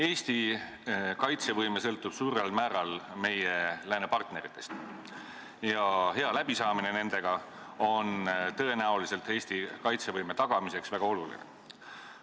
Eesti kaitsevõime sõltub suurel määral meie läänepartneritest ja hea läbisaamine nendega on tõenäoliselt Eesti kaitsevõime tagamiseks väga oluline.